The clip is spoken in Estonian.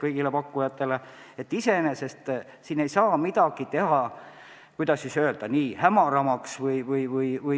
Nii et iseenesest ei saa siin midagi, kuidas öelda, hämaramaks teha.